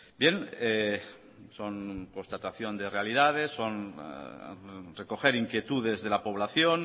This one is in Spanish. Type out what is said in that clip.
bien son constatación de realidades son recoger inquietudes de la población